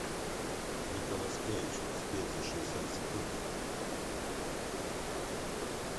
николас кейдж успеть за шестьдесят секунд